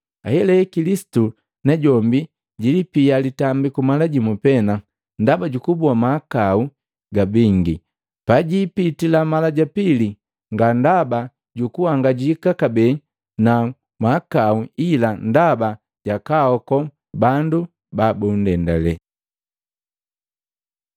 Ahelahela Kilisitu najombi jilipia litambiku mala jimu pena ndaba jukuboa mahakau ga bingi. Pajiipitila mala ja pili, nga ndaba jukuhangajika kabee na mahakau, ila ndaba ja kwaaoko bandu babundendale.